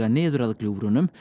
niður að gljúfrunum